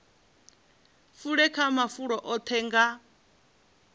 fule kha mafulo oṱhe nga